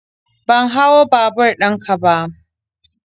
Ban hau babur ɗin ka ba.